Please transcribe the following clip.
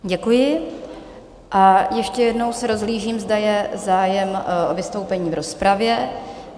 Děkuji a ještě jednou se rozhlížím, zda je zájem o vystoupení v rozpravě?